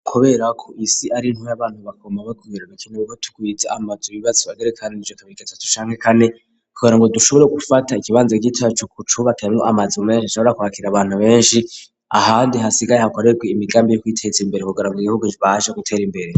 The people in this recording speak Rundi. kubera ko isi ari ntuby'abantu bagomba be kugira gakine bugo tukwiritse amazi bibatsba derekana n'icyo kabirikatat shanke kane kugera ngo dushobore gufata ikibanzo c'icacu ku cubakaye mwo amazim mensh ashobora kubakira abantu benshi ahandi hasigaye hakorew imigambi yo kwitetsa imbere kugara mu igihugu rbaje gutera imbere.